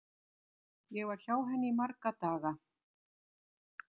Ég var hjá henni í marga daga.